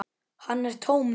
Hann er tómur.